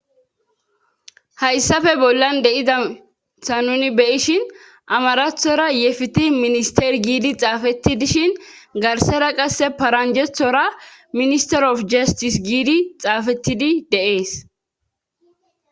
Hayssafe bollan de7izaytha nuni be7ishin amarathora ye fitii ministter giidi xaafetti dishin garssara qassse paranjjethora ministter ofi jasttis giidi xaafetti de7ees.